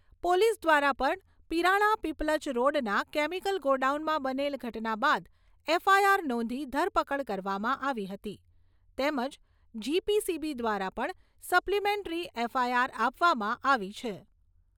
Police દ્વારા પણ પીરાણા પીપલજ રોડના કેમીકલ ગોડાઉનમાં બનેલ ઘટના બાદ એફઆઈઆર નોંધી ધરપકડ કરવામાં આવી હતી, તેમજ જીપીસીબી દ્વારા પણ સપ્લીમેંટરી એફઆઈઆર આપવામાં આવી છે.